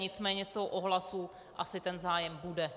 Nicméně z toho ohlasu asi ten zájem bude.